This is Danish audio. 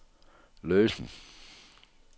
løsen